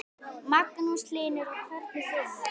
Magnús Hlynur: Og hvernig vinur?